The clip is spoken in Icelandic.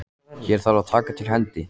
Hér þarf að taka til hendi.